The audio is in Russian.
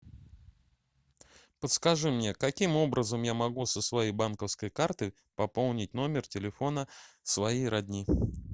подскажи мне каким образом я могу со своей банковской карты пополнить номер телефона своей родни